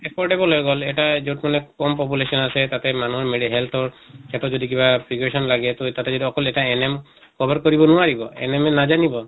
affordable হৈ গʼল এটা যʼত মানে কম population আছে তাতে মানুহ health ৰ তাতো যদি কিবা preparation লাগে তʼ তাতে যদি অকল এটা NM cover কৰিব নোৱাৰিব। NM য়ে নাজানিব।